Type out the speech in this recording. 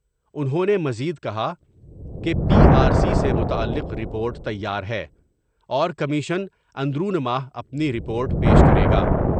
انہوں نے مزید کہا کہ پی آر سی سے متعلق رپورٹ تیار ہے اور کمیشن اندرون ماہ اپنی رپورٹ پیش کرے گا۔